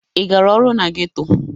Ị gara ọrụ na geto?